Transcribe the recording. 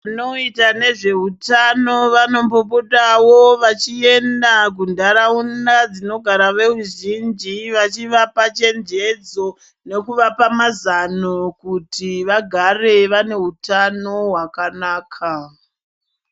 Vanoita nezveutano vanombopotawo vachienda kunharaunda dzinogara veruzhinji vachivapa chenjendzo nekuvapa mazano kuti vagare vane hutano hwakanaka.